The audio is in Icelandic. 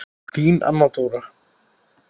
Þín Anna Dóra.